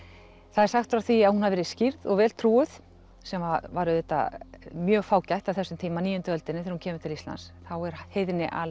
það er sagt frá því að hún hafi verið skírð og vel trúuð sem að var auðvitað mjög fágætt á þessum tíma níunda öldinni þegar hún kemur til Íslands þá er heiðni